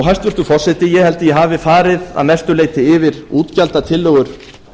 hæstvirtur forseti ég held að ég hafi farið að mestu leyti yfir útgjaldatillögur